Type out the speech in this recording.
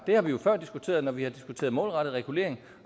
har vi jo før diskuteret når vi har diskuteret målrettet regulering